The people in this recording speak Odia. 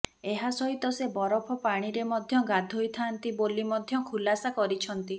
ଏହାସହିତ ସେ ବରଫ ପାଣିରେ ମଧ୍ୟ ଗାଧୋଇଥାନ୍ତି ବୋଲି ମଧ୍ୟ ଖୁଲାସା କରିଛନ୍ତି